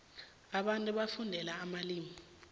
abantu bafundela amalimu